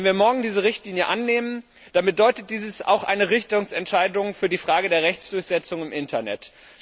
Wenn wir morgen diese Richtlinie annehmen, dann bedeutet dies auch eine Richtungsentscheidung für die Frage der Rechtsdurchsetzung im Internet.